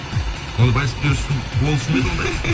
оны вальс билеуші болушы ма еді ондай